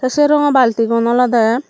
te se rongo balti gun olode.